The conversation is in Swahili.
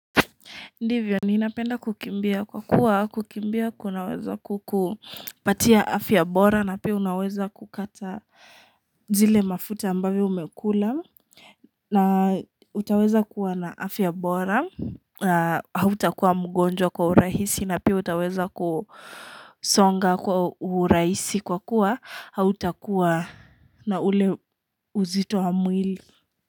Ndivyo, ninapenda kukimbia kwa kuwa kukimbia kunaweza kupatia afya bora na pia unaweza kukata zile mafuta ambavyo umekula na utaweza kuwa na afya bora na hautakuwa mgonjwa kwa urahisi na pia utaweza kusonga kwa urahisi kwa kuwa hautakuwa na ule uzito wa mwili.